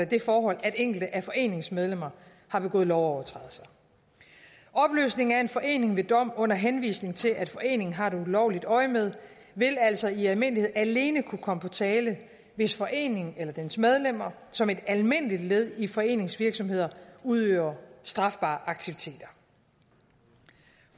det forhold at enkelte af foreningens medlemmer har begået lovovertrædelser opløsning af en forening ved dom under henvisning til at foreningen har et ulovligt øjemed vil altså i almindelighed alene kunne komme på tale hvis foreningen eller dens medlemmer som et almindeligt led i foreningens virksomhed udøver strafbare aktiviteter